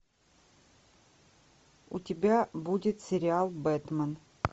у тебя будет сериал бэтмен